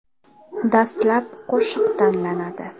Dastlab qo‘shiq tanlanadi.